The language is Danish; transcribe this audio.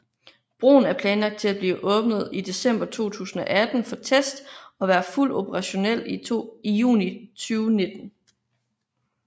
Broen er planlagt til at blive åbnet i december 2018 for test og være fuldt operationel i juni 2019